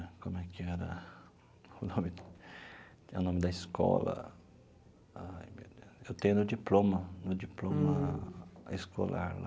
Como é que era... o nome... é o nome da escola... eu tenho no diploma, no diploma escolar lá.